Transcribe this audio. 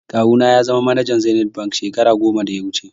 Kawu na ya zama manajan zenith bank shekara goma da ya wuche